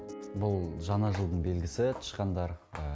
бұл жаңа жылдың белгісі тышқандар